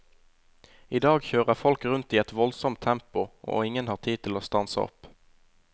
I dag kjører folk rundt i et voldsomt tempo, og ingen har tid til å stanse opp.